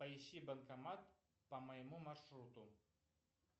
поищи банкомат по моему маршруту